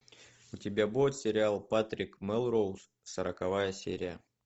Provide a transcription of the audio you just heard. у тебя будет сериал патрик мелроуз сороковая серия